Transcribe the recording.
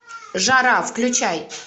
жара включай